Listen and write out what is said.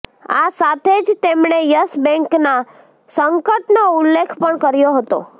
આ સાથે જ તેમણે યસ બેંકના સંકટનો ઉલ્લેખ પણ કર્યો હતો